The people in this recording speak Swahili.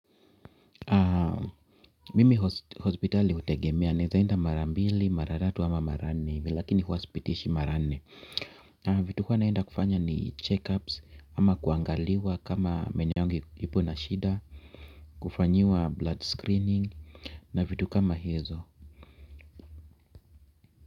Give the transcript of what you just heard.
Mimi hospitali hutegemea. Naweza enda mara mbili, mara tatu ama mara nne hivi lakini huwa sipitishi mara nne. Vitu mimi huwa naenda kufanya ni checkups, ama kuangaliwa kama meno yangu iko na shida ama kufanyiwa blood screening, na vitu kama hizo.